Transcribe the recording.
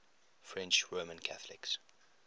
french roman catholics